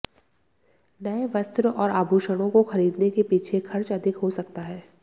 नए वस्त्र और आभूषणों को खरीदने के पीछे खर्च अधिक हो सकता है